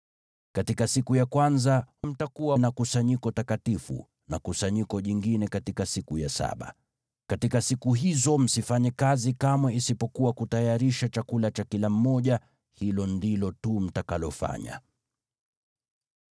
Katika siku ya kwanza mtakuwa na kusanyiko takatifu, na kusanyiko jingine katika siku ya saba. Katika siku hizo msifanye kazi kamwe isipokuwa kutayarisha chakula cha kila mmoja; hilo ndilo tu mtakalofanya.